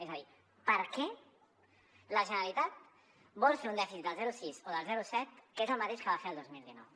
és a dir per què la generalitat vol fer un dèficit del zero coma sis o del zero coma set que és el mateix que va fer el dos mil dinou